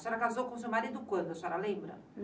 A senhora casou com o seu marido quando, a senhora lembra?